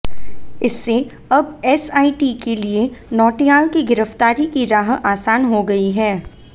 इससे अब एसआईटी के लिए नौटियाल की गिरफ्तारी की राह आसान हो गई है